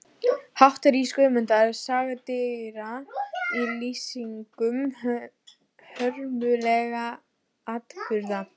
Hátt rís Guðmundar saga dýra í lýsingum hörmulegra atburða.